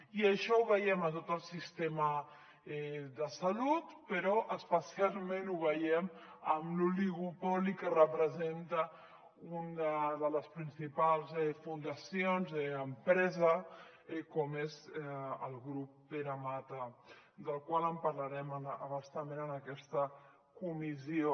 i això ho veiem a tot el sistema de salut però especialment ho veiem amb l’oligopoli que representa una de les principals fundacions empresa com és el grup pere mata del qual en parlarem a bastament en aquesta comissió